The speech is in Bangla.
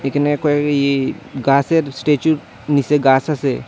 এখানে কয়েক ইয়ে গাছের স্ট্যাচুর নিচে গাছ আছে।